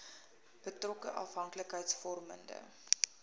betrokke afhanklikheids vormende